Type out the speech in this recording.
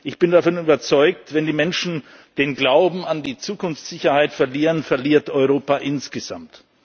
Ich bin davon überzeugt, wenn die Menschen den Glauben an die Zukunftssicherheit verlieren, verliert Europa insgesamt.